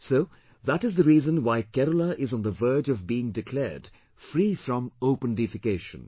So that is the reason why Kerala is on the verge of being declared free from open defecation